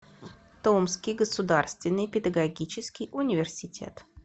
томский государственный педагогический университет